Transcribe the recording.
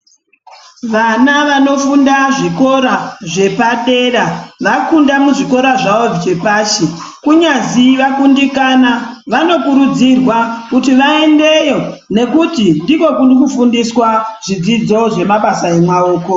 Vana vanofunda zvikora zvepadera vafunda muzvikora zvawo zvepashi kunyazi vakundikana vanokurudzirwa kuti vaendeyo nekuti ndiko kurikufundiswa zvidzidzo zvemabasa emaoko.